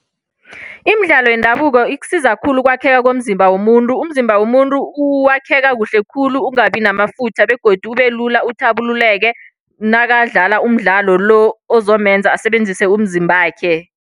Imidlalo yendabuko ikusiza khulu ukwakheka komzimba womuntu. Umzimba womuntu wakheka kuhle khulu, ungabi namafutha begodu ubelula uthabululeke. Nakadlala umdlalo lo ozomenza asebenzise umzimbakhe.